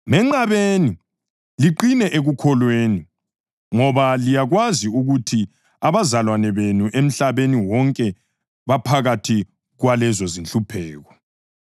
Menqabeni, liqine ekukholweni ngoba liyakwazi ukuthi abazalwane benu emhlabeni wonke baphakathi kwalezo zinhlupheko.